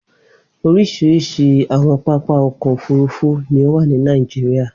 Oríṣiríṣi àwọn pápá ọkọ̀-òfurufú ní ó wà ní Nàìjíríà.